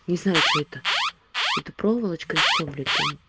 не знаю чё это это проволочка и все блять там